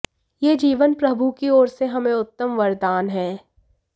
यह जीवन प्रभु की ओर से हमें उत्तम वरदान है